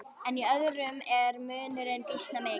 En í öðrum er munurinn býsna mikill.